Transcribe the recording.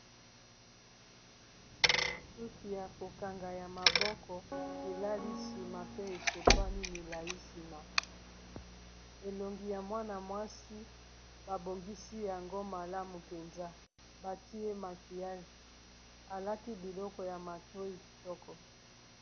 Suki ya kokanga ya maboko elali nsima pe esopani milayi nsima elongi ya mwana-mwasi babongisi yango malamu mpenza batie makiyage alati biloko ya matoyi kitoko.